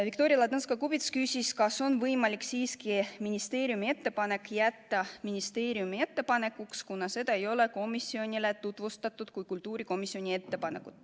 Viktoria Ladõnskaja-Kubits küsis, kas on võimalik siiski ministeeriumi ettepanek jätta ministeeriumi ettepanekuks, kuna seda ei ole komisjonile tutvustatud kui kultuurikomisjoni ettepanekut.